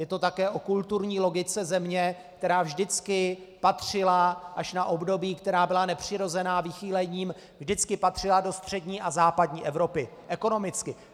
Je to také o kulturní logice země, která vždycky patřila - až na období, která byla nepřirozená vychýlením - vždycky patřila do střední a západní Evropy, ekonomicky.